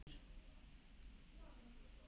Og síðan ekki meir?